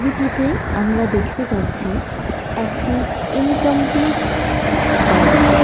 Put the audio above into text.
ছবিটিতে আমরা দেখতে পাচ্ছি একটি ইনকমপ্লিট বাড়ি ।